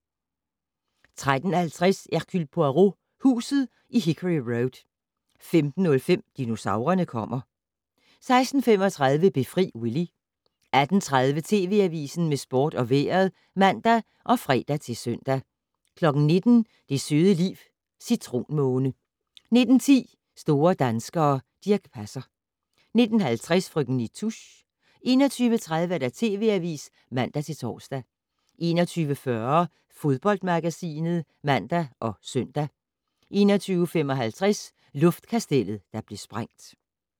13:20: Hercule Poirot: Huset i Hickory Road 15:05: Dinosaurerne kommer 16:35: Befri Willy 18:30: TV Avisen med sport og vejret (man og fre-søn) 19:00: Det søde liv - Citronmåne 19:10: Store danskere - Dirch Passer 19:50: Frøken Nitouche 21:30: TV Avisen (man-tor) 21:40: Fodboldmagasinet (man og søn) 21:55: Luftkastellet der blev sprængt